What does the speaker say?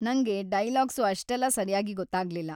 ನಂಗೆ ಡೈಲಾಗ್ಸು ಅಷ್ಟೆಲ್ಲ ಸರ್ಯಾಗಿ ಗೊತ್ತಾಗ್ಲಿಲ್ಲ.